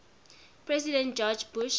president george bush